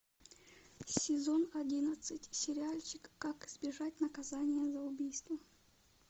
сезон одиннадцать сериальчик как избежать наказания за убийство